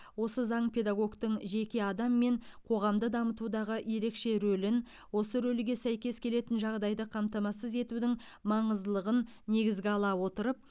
осы заң педагогтың жеке адам мен қоғамды дамытудағы ерекше рөлін осы рөлге сәйкес келетін жағдайды қамтамасыз етудің маңыздылығын негізге ала отырып